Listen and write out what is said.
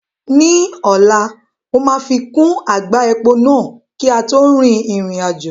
Ní ọ̀la, mo máa fi kún àgbá epo náà kí a tó rin ìrìn àjò